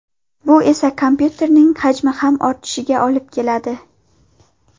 Bu esa kompyuterning hajmi ham ortishiga olib keladi.